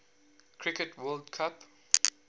cricket world cup